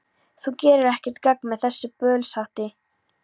Þú gerir ekkert gagn með þessu bölsóti,